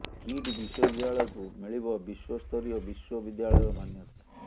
kit ବିଶ୍ୱବିଦ୍ୟାଳୟକୁ ମିଳିବ ବିଶ୍ୱ ସ୍ତରୀୟ ବିଶ୍ୱ ବିଦ୍ୟାଳୟର ମାନ୍ୟତା